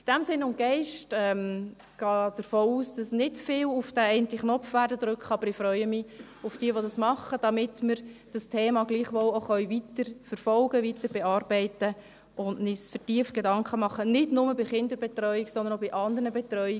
In diesem Sinn und Geist: Ich gehe davon aus, dass nicht viele auf diesen Abstimmungsknopf drücken werden, aber ich freue mich über diejenigen, die es tun, damit wir dieses Thema gleichwohl weiterverfolgen, weiterbearbeiten können und uns vertieft Gedanken machen können, nicht nur über die Kinderbetreuung, sondern auch über die anderen Themen.